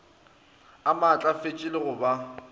a maatlafetše le go ba